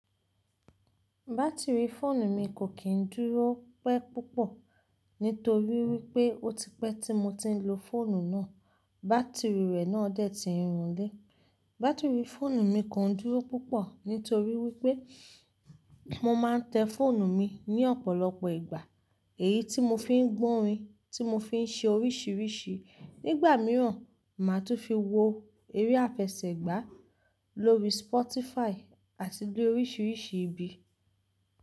Bátìrì fóònù mi kò kí n dúró pẹ́ púpọ̀ nítorí wípé ó ti pẹ́ tí mo ti ń lo fóònù náà, bátìrì rẹ̀ náà dẹ́tì irun lé. Bátìrì fóònù mi kò n dúró púpọ̀ nítorí wípé mo máa ń tẹ fóònù mi ní ọ̀pọ̀lọpọ̀ ìgbà, èyí tí mo fi ń gbọ́ orin, tí mo fi ń ṣe oríṣiríṣi. Nígbà mìíràn, màá tún fi wo eré àfẹsẹ̀gbá lórí Spotify àti gbé oríṣiríṣi ibi.